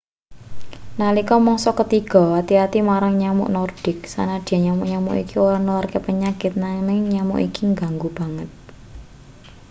nalika mangsa ketiga ati-ati marang nyamuk nordik sanadyan nyamuk-nyamuk iki ora nularke penyakit nanging nyamuk iki ngganggu banget